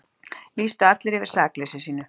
Lýstu allir yfir sakleysi sínu